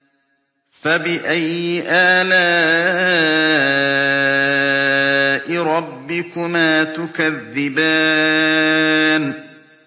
فَبِأَيِّ آلَاءِ رَبِّكُمَا تُكَذِّبَانِ